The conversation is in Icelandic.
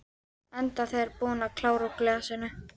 Enda þegar búin að klára úr glasinu.